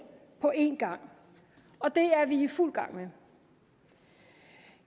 på én gang og det er vi i fuld gang med